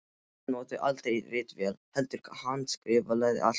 Hann notaði aldrei ritvél heldur handskrifaði allt.